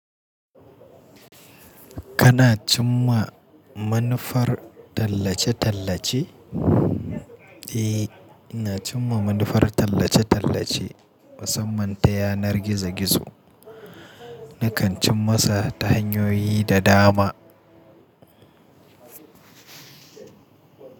Kana cimma manufar tallace-tallace? Eh, ina cimma manufar tallace-tallace, musamman ta yanar gizo-gizo. Nakan cim masa ta hanyoyi da dama.